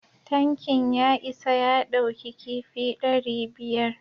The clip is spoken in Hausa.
Tankin ya isa ya ɗauki kifi dari biyar